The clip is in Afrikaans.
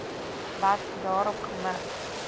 wat daarop gemik